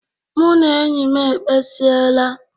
Mụ na enyi m ekpesiela.